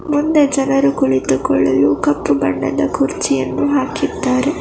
ಮುಂದೆ ಜನರು ಕುಳಿತುಕೊಳ್ಳಲು ಕಪ್ಪು ಬಣ್ಣದ ಕುರ್ಚಿಯನ್ನು ಹಾಕಿದ್ದಾರೆ.